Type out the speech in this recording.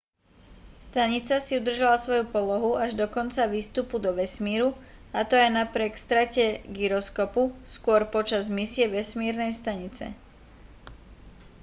stanica si udržala svoju polohu až do konca výstupu do vesmíru a to aj napriek strate gyroskopu skôr počas misie vesmírnej stanice